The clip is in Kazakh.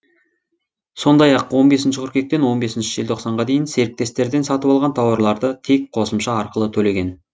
сондай ақ он бесінші қыркүйектен он бесінші желтоқсанға дейін серіктестерден сатып алған тауарларды тек қосымша арқылы төлеген